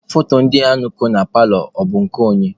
Foto ndị a ko na paalọ a, bụ nke onye?